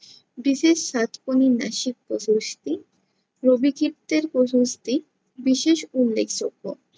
প্রশস্তি, রবিকৃত্তের প্রশস্তি বিশেষ উল্লেখযোগ্য।